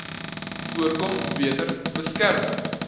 voorkom beter beskerm